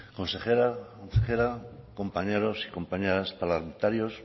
consejera compañeros y compañeras parlamentarios